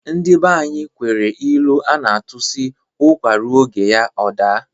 Ndị banyi nwere ilu a na-atụ sị, "ụkwa ruo oge ya ọ daa "